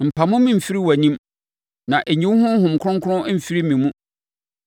Mpamo me mfiri wʼanim na ɛnyi wo Honhom Kronkron mfiri me mu.